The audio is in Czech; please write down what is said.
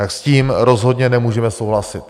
Tak s tím rozhodně nemůžeme souhlasit.